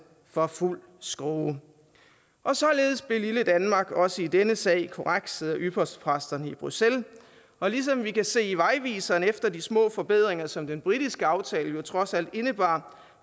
for fuld skrue og således blev lille danmark også i denne sag korrekset af ypperstepræsterne i bruxelles og ligesom vi kan se i vejviseren efter de små forbedringer som den britiske aftale jo trods alt indebar